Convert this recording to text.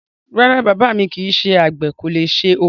Rárá, bàbá mi kìí ṣe àgbè, kò le ṣe ọkọ́.